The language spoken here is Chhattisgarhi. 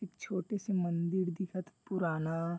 एक छोटे से मन्दिर दिखत हे पुराना--